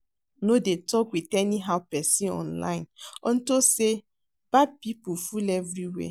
No dey talk with anyhow person online unto say bad people full everywhere